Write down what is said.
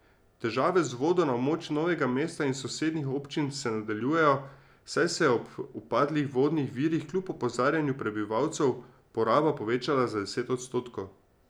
Težave z vodo na območju Novega mesta in sosednjih občin se nadaljujejo, saj se je ob upadlih vodnih virih kljub opozarjanju prebivalcev poraba povečala za deset odstotkov.